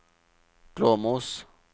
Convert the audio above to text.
Glåmos